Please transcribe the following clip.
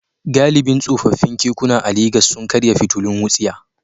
Galibin tsofaffin kekuna a Legas sun karya fitilun wutsiya.